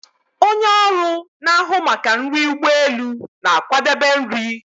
Onye ọrụ na-ahụ maka nri ụgbọ elu na-akwadebe nri